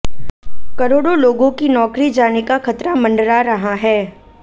करोड़ों लोगों की नौकरी जाने का खतरा मंडरा रहा है